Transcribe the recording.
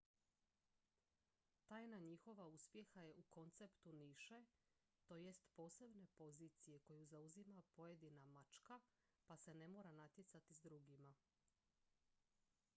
tajna njihova uspjeha je u konceptu niše to jest posebne pozicije koju zauzima pojedina mačka pa se ne mora natjecati s drugima